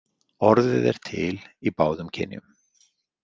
Orðið er til í báðum kynjum.